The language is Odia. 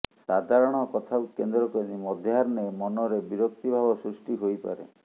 ସାଧାରଣ କଥାକୁ କେନ୍ଦ୍ରକରି ମଧ୍ୟାହ୍ନେ ମନରେ ବିରକ୍ତିିଭାବ ସୃଷ୍ଟି ହୋଇପାରେ